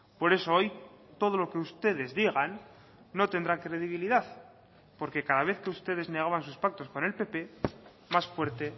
por eso hoy todo lo que ustedes digan no tendrá credibilidad porque cada vez que ustedes negaban sus pactos con el pp más fuerte